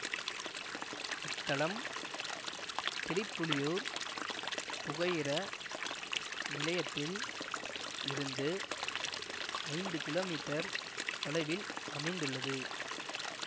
இத்தலம் திரிப்புலியூர் புகையிர நிலையத்தில் இருந்து ஐந்து கிலோமீட்டர் தொலைவில் அமைந்துள்ளது